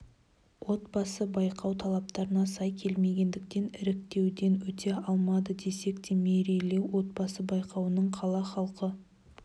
отбасы байқау талаптарына сай келмегендіктен іріктеуден өте алмады десек те мерейлі отбасы байқауының қала халқы